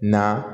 Na